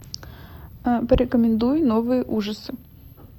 порекомендуй новые ужасы